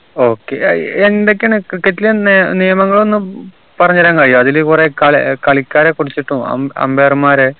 okay ഏർ എന്തൊക്കെയാണ് cricket ൽ എന്താ നിയമങ്ങളൊന്നും പറഞ്ഞരാൻ കയ്യോ അതില് കുറെ കളി കളിക്കാരെ കുറിച്ചിട്ടും അം umpire മാരെ